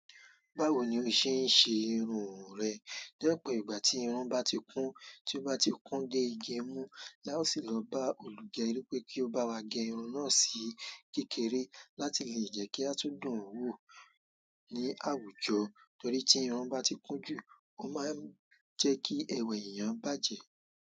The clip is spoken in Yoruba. Báwo ni o ṣe ń ṣe irun rẹ? Dẹ́pẹ̀, ìgbà tí irun bá ti kún, tí ó bá ti kún dé igi mú, la ó sì lọ bá olùgẹ́rí pé kí ó bá wá gẹ irun náà sí kékeré láti lè jẹ́ kí a tún dùn ún wò ó ní àwùjọ. Torí tí irun bá ti kún jù, ó máa ń jẹ́ kí ẹwà ènìyàn bàjẹ́.